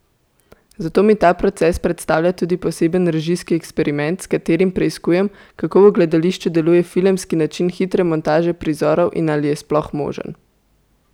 Zato mi ta proces predstavlja tudi poseben režijski eksperiment, s katerim preiskujem, kako v gledališču deluje filmski način hitre montaže prizorov in ali je sploh možen.